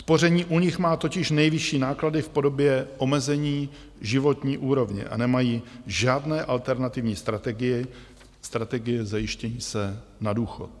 Spoření u nich má totiž nejvyšší náklady v podobě omezení životní úrovně a nemají žádné alternativní strategie zajištění se na důchod.